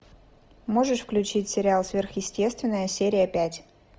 можешь включить сериал сверхъестественное серия пять